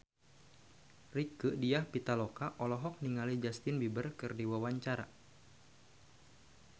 Rieke Diah Pitaloka olohok ningali Justin Beiber keur diwawancara